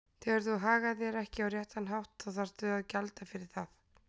Þegar þú hagar þér ekki á réttan hátt þá þarftu að gjalda fyrir það.